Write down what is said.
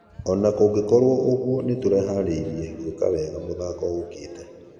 Ona gũgĩkorwo ũguo nĩtũreharĩria gũeka wega mũthako ũkĩte."